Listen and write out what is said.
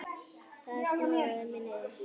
Það sogaði mig niður.